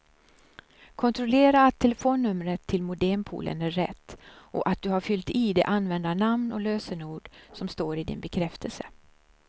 Kontrollera att telefonnumret till modempoolen är rätt och att du har fyllt i det användarnamn och lösenord som står i din bekräftelse.